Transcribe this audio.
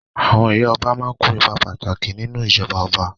Àwọn ìyá ọba máa kó ipa pàtàkì nínú ìjọba ọba.